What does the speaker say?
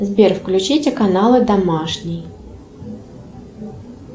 сбер включите каналы домашний